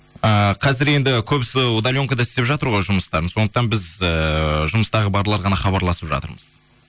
ыыы қазір енді көбісі удаленкада істеп жатыр ғой жұмыстарын сондықтан біз ііі жұмыстағы барлары ғана хабарласып жатырмыз